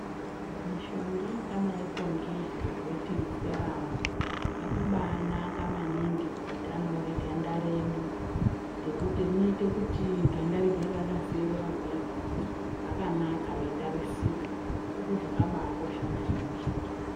Mishonga yakadaiko nge Serum, yakaba anaka maningi kuutano hweganda redu. Ngekuti rinoite kuti ganda rigare rakaserera kudaio rakanaka reitarisika. Ndozvakaba akosha maningi.